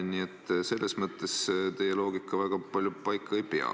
Nii et selles mõttes teie loogika väga palju paika ei pea.